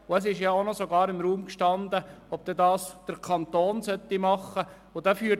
Es stand ja sogar im Raum, dass der Kanton diese Aufgabe übernehmen soll.